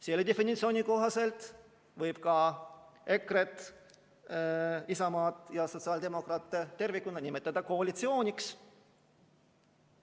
Selle definitsiooni kohaselt võib ka EKRE-t, Isamaad ja sotsiaaldemokraate tervikuna nimetada koalitsiooniks.